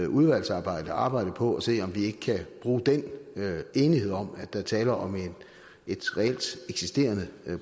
udvalgsarbejde arbejde på at se om vi ikke kan bruge den enighed om at der er tale om et reelt eksisterende